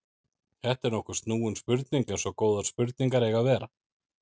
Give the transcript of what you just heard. Þetta er nokkuð snúin spurning eins og góðar spurningar eiga að vera.